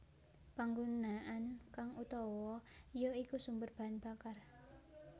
Panggunaan kang uutawa ya iku sumber bahan bakar